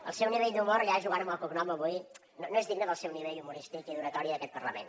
el seu nivell d’humor jugant amb el cognom avui no és digne del seu nivell humorístic i d’oratòria d’aquest parlament